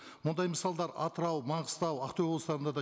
мұндай мысалдар атырау маңғыстау ақтөбе облыстарында да